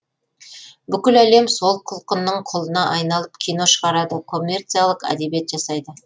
бүкіл әлем сол құлқынның құлына айналып кино шығарады коммерциялық әдебиет жасайды